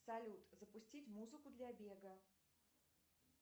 салют запустить музыку для бега